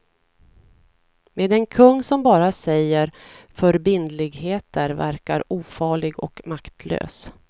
Men en kung som bara säger förbindligheter verkar ofarlig och maktlös.